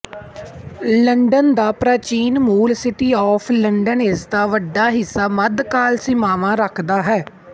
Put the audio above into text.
London ਦਾ ਪ੍ਰਾਚੀਨ ਮੂਲ ਸਿਟੀ ਆਫ ਲੰਡਨ ਇਸਦਾ ਵੱਡਾ ਹਿੱਸਾ ਮੱਧਕਾਲ ਸੀਮਾਵਾਂ ਰੱਖਦਾ ਹੈ